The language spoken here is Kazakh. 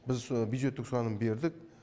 біз со бюджеттік сұраным бердік